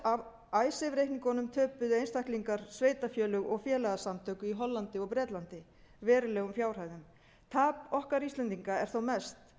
af icesave reikningunum töpuðu einstaklingar sveitarfélög og félagasamtök í hollandi og bretlandi verulegum fjárhæðum tap okkar íslendinga er þó mest